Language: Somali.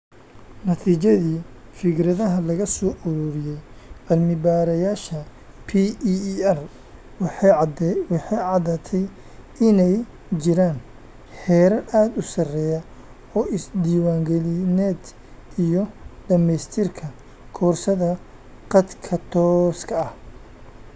Natiijadii fikradaha laga soo ururiyay cilmi-baarayaasha PEER, waxay caddaatay inay jiraan heerar aad u sarreeya oo is-diiwaangelineed iyo dhammaystirka koorsada khadka tooska ah.